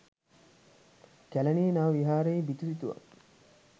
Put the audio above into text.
කැලණියේ නව විහාරයේ බිතු සිතුවම්